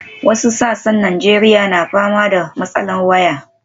Wasu sassan Najeriya na fama da matsalar waya.